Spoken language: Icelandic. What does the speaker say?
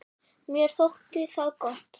Mér þótti það gott.